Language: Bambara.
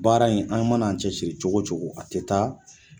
Baara in an mana an cɛ siri cogo cogo a tɛ taa